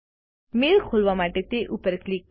mail ખોલવા માટે તે પર ક્લિક કરો